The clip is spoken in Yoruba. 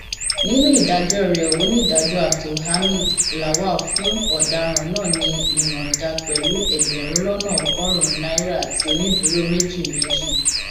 nínú ìdájọ rẹ onídàájọ abdulhamid lawal fún ọdaràn náà ní ìyọǹda pẹlú ẹgbẹrún lọnà ọgọrùnún naira àti onídùúró méjì méjì